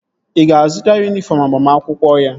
Ị ga-azụta yunifọm agbamakwụkwọ ya?